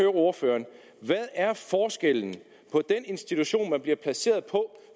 ordføreren hvad er forskellen på den institution man bliver placeret på